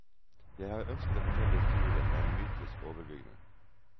Jeg har ønsket å fortelle historien med en mytisk overbygning.